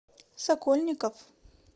сокольников